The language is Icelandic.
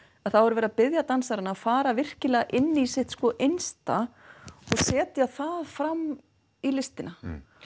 þá er verið að biðja dansarana að fara virkilega inn í sitt innsta og setja það fram í listina